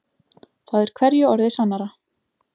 Það er hverju orði sannara.